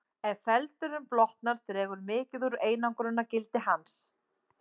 Ef feldurinn blotnar dregur mikið úr einangrunargildi hans.